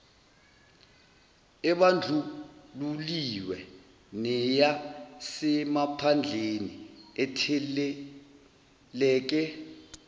ebandlululiwe neyasemaphandleni etheleleke